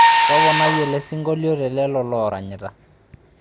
Topanai ele sinkolio telelo loranyita